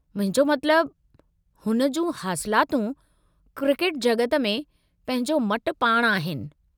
मुंहिंजो मतिलबु, हुन जूं हासिलातूं क्रिकेट जॻत में पंहिंजो मटि पाणि आहिनि।